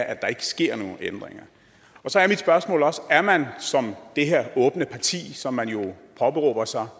at der ikke sker nogen ændringer så er mit spørgsmål også om man som det her åbne parti som man jo påberåber sig